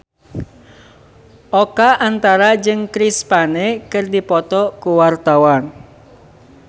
Oka Antara jeung Chris Pane keur dipoto ku wartawan